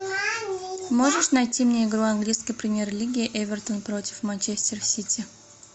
можешь найти мне игру английской премьер лиги эвертон против манчестер сити